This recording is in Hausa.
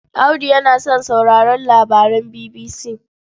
Audu yana son sauraron labaran BBC.